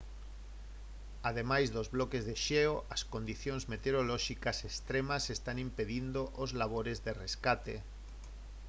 ademais dos bloques de xeo as condicións meteorolóxicas extremas están impedindo os labores de rescate